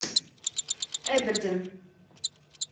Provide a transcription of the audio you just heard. эбердин